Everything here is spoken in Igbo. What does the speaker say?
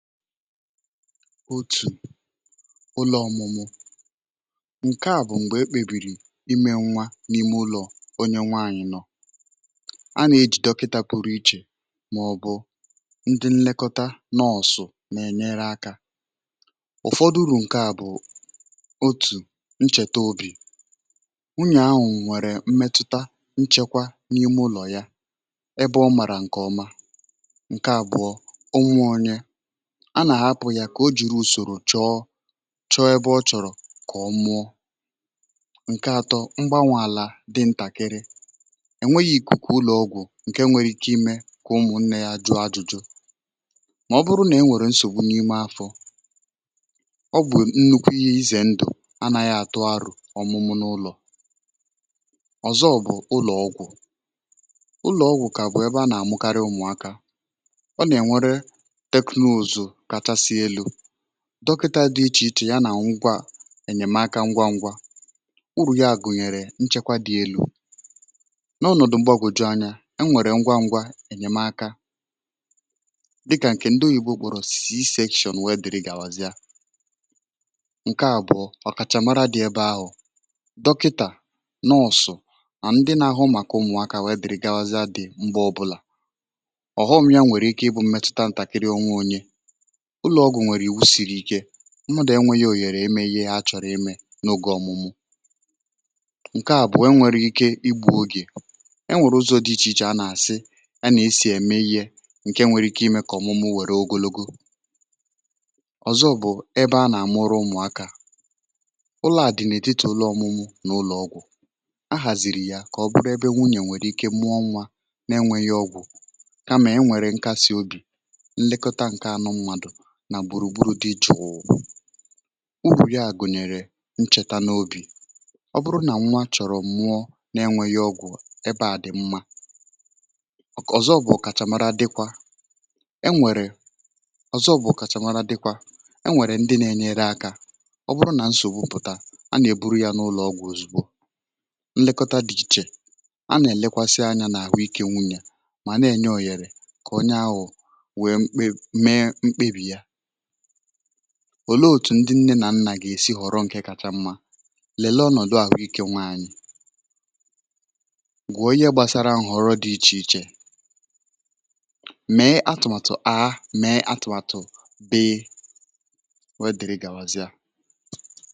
Otu ụlọ̀ ọ̀mụ̀mụ̀ nke a bụ̀ mgbe ekpebìrì imė nwa n’ime ụlọ̀ onye nwaànyị̀ nọ̀ a nà-ejì dọkịtȧ pụrụ̇ iche màọ̀bụ̀ ndị nlekọta na ọ̀sọ̀ nà-ènyere akà. Ụ̀fọdụrụ̀ nke a bụ̀ otu nchètà obì unyè ahụ̀ nwèrè mmetụta nchekwa n’ime ụlọ̀ yà ebe ọ̇ màrà nke ọma nke àbụ̀ọ a nà hapụ̀ ya kà o jìrì ùsòrò chọ chọ ebe ọ chọ̀rọ̀ kà ọ mụọ Nke atọ um mgbanwụ̇ àlà dị ntàkịrị è nweghi ìkùkù ụlọ̀ ọgwụ̀ nke nwere ike imė kà ụmụ̀ nne ya jụ̀ ajụ̇jụ̀ mà ọ bụrụ nà e nwèrè nsògbu n’ime afọ̇ ọ bụ̀ nnukwu ihe ize ndụ̀ anàghị àtụ arụ̀ ọ̀mụ̀mụ̀ n’ụlọ̀ Ọ̀zọ bụ̀ ụlọ̀ ọgwụ̀ ụlọ̀ ọgwụ̀ kà bụ̀ ebe a nà-àmụkarị ụmụ̀aka ọ nà-ènwere dọkịta dị̇ iche iche ya nà ngwà ènyèmaka ngwa ngwa nwụ̀rụ̀ ya gùnyèrè nchekwa dị̇ elu̇ N’ọnọ̀dụ̀ mgbèọgwụ̀ju̇ anya e nwèrè ngwa ngwa ènyèmaka dịkà um nke ndị ugbòrọ̇ c-sashion wèe dị̀rị gàwàzia Nke àbụọ ọ̀kàchà mara dị̇ ebe ahụ̀ dọkịtà, nọọ̀sụ̀ mà ndị na ahụm àkọ ụmụ̀aka wèe dị̀rị gàwazịa Dị̀ mbụ ọbụlà um ọ̀hụmnya nwèrè ike ịbụ̇ mmetụta ntàkịrị ọnwa onye ụlọ̀ ọgwụ̀ nwèrè iwu siri ike ṅụdȯ enwėghi̇ òghèrè emeghe ha chọ̀rọ̀ eme n’ògė ọ̀mụ̀mụ̀ nke àbụ̀ọ̀ enwèrè ike igbȧ ogè E nwèrè ụzọ̇ dị̇ iche iche a nà-àsị a nà-esì ème ihe nke nwere ike imė kà ọ̀mụ̀mụ̀ nwèrè ogologo Ọ̀zọ bụ̀ um ebe a nà-àmụrụ ụmụ̀ akà ụlọ̇ à dị̀nà èdite Ụlọ̇ ọ̀mụ̀mụ̀ n’ụlọ̀ ọgwụ̀ a hàzị̀rị̀ yà kà ọ bụrụ ebe nwunyè nwèrè ike mụọ nwa na-enwėghi̇ ọgwụ̀ kamà e nwèrè nkasi obì nà gburu gburu di jụụ̀ um Urù ya gụ̀nyèrè nchèta n’obì ọ bụrụ nà nwa chọ̀rọ̀ mụọ n’enwėghi̇ ọgwụ̀ ebeà dị̀ mma Ọ̀zọ bụ̀ ọ̀kàchàmara dịkwa um e nwèrè ndị na-enyere akà ọ bụrụ nà nsògbu pụ̀ta a nà-èburu ya n’ụlọ̀ ọgwụ̀ ozùgbo Nlekọta dị̇ iche a nà-èlekwasịa anya n’àhụikė nwụ̇ yà mà na-ènye òhèrè kà onye ahụ̀ ò le otù ndị ǹne nà nnà gà-èsi ghọ̀rọ̀ nke kacha mma Lèlè ọnọ̀dụ̀ àhụikė nwaanyị̀ gwùo ihe gbasara họ̀rọ̀ dị iche iche mee atụ̀màtụ̀ àha mee atụ̀màtụ̀ bee e wèe dị̀rị gàwàzịa